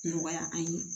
Nɔgɔya an ye